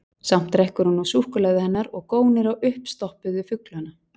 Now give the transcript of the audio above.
Samt drekkur hún nú súkkulaðið hennar og gónir á uppstoppuðu fuglana.